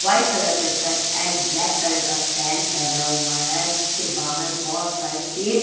white colour का shirt and black colour का pant पहना हुआ है जिसके बाहर बहुत सारे पेड़--